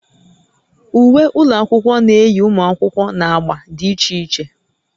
Uwe ụlọ akwụkwọ na-eyi ụmụ akwụkwọ na agba dị iche iche